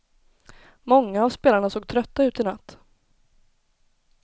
Många av spelarna såg trötta ut i natt.